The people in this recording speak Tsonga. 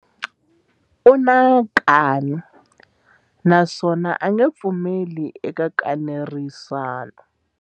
U na nkani naswona a nge pfumeli eka nkanerisano.